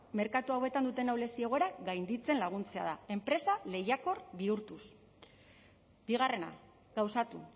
merkatu hauetan duten ahulezia egoera gainditzen laguntzea da enpresa lehiakor bihurtuz bigarrena gauzatu